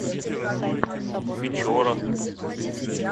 печорах